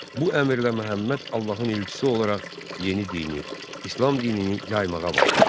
Bu əmrlə Məhəmməd Allahın elçisi olaraq yeni dini, İslam dinini yaymağa başladı.